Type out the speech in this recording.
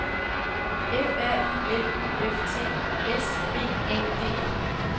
F R I L U F T S B A D E